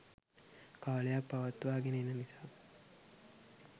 කාලයක් පවත්වා ගෙන එන නිසා